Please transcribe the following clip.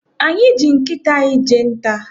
Anyị ji nkịta anyị jee nta.